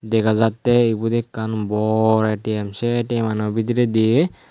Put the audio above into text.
dega jattey eben ekkan bor A_T_M se A_T_M ano bidiredi.